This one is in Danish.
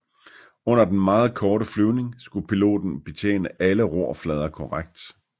Under den meget korte flyvning skulle piloten betjene alle rorflader korrekt